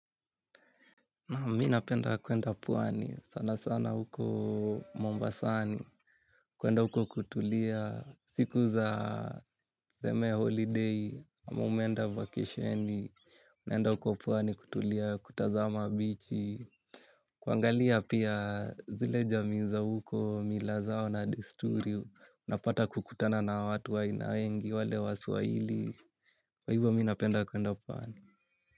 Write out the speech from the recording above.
Naam, minapenda kwenda pwani sana sana huko Mombasani, kwenda huko kutulia, siku za tseme holiday, mmenda vakisheni, unaenda huko pwani kutulia kutazama bichi, kuangalia pia zile jamii za huko milazao na desturi, unapata kukutana na watu waina wengi, wale waswahili, kwa hivo minapenda kwenda pwani.